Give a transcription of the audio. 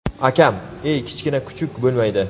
Akam: ey kichkina kuchuk bo‘lmaydi.